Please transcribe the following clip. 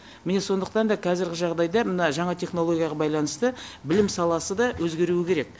міне сондықтан да қазіргі жағдайда мына жаңа технологияға байланысты білім саласы да өзгеруі керек